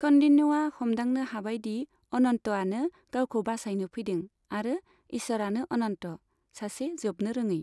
कौन्डिन्यआ हमदांनो हाबाय दि अनन्तआनो गावखौ बासायनो फैदों आरो इसोरानो अनन्त, सासे जोबनोरोङै।